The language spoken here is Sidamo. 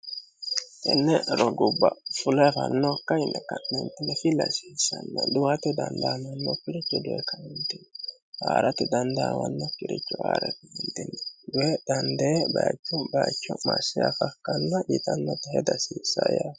tenne rogubba fule afannokka yine ka'nentine filasiissanna dhuwato danlaamanno piricho duwe kanundini haa'ratti dandaawanno kirichu haa'reihindini duye dhandee bayichu bayicho massheafakkanna diitannota hedihasiissa yeemmo